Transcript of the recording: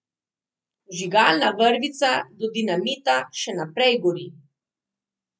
Vžigalna vrvica do dinamita še naprej gori.